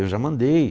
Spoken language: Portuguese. Eu já mandei.